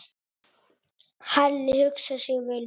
Halli hugsaði sig vel um.